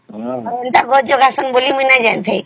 ଏଣ୍ଟ ଗଛ ଉଗାଶନ ବୋଲି ମୁଇ ନାଇଁ ଜାଣିଥାଇ